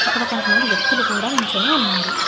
ఇక్కడ కొంతమంది వ్యక్తులు కూడా నిల్చొని ఉన్నారు.